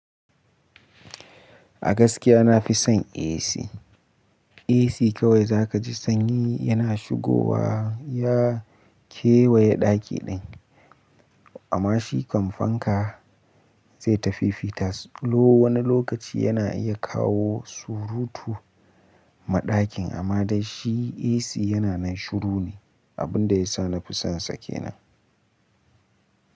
A gaskiya na fi son AC. AC kawai za ka ji sanyi yana shigowa ya kewaye ɗaki ɗin. Amma shi kam fanka zai tafi fitas. Lo wani lokaci yana iya kawo surutu maɗakin amma dai shi AC yana nan shiru ne, abin da ya sa nafi son sa kenan.